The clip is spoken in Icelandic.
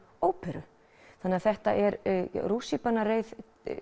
óperu þannig að þetta er rússíbanareið